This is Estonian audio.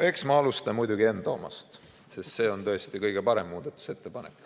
Eks ma alustan muidugi enda omast, sest see on tõesti kõige parem muudatusettepanek,